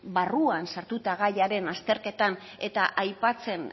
barruan sartuta gaiaren azterketan eta aipatzen